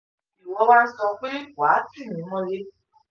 ìwọ wa ń sọ pé wà á tì mí mọ́lẹ̀